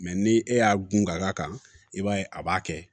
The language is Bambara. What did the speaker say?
ni e y'a gun ka da kan i b'a ye a b'a kɛ